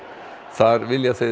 þar vilja þeir